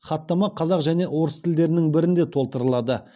хаттама қазақ және орыс тілдерінің бірінде толтырылады